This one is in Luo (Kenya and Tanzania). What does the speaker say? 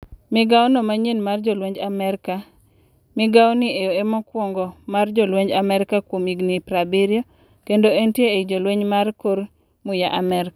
Migao no manyien mar jolwenj Amerka, migaoni e mokwongo mar jolweny amerka kuom higni 70, kendo entie ei jolweny mar kor muya Amerka.